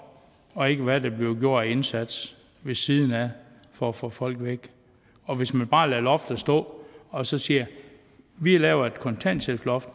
og ikke på hvad der bliver gjort af indsats ved siden af for at få folk væk og hvis man bare lader loftet stå og så siger at vi laver et kontanthjælpsloft